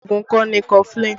Oògùn ikọ́ ni kọfulin